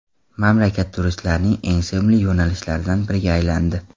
Mamlakat turistlarning eng sevimli yo‘nalishlaridan biriga aylandi.